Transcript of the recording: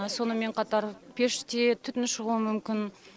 сонымен қатар пеште түтін шығуы мүмкін